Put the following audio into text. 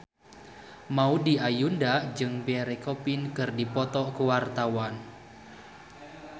Maudy Ayunda jeung Pierre Coffin keur dipoto ku wartawan